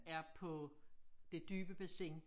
Er på det dybe bassin